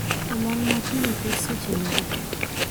Olang' makiny oket seche mage